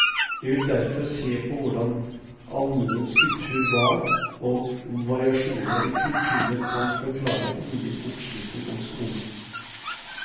Jeg vil derfor se på hvordan allmuens kultur var, og om variasjoner i kulturen kan forklare ulik oppslutning om skolen.